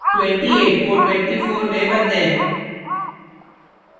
28 को 24 में बदलें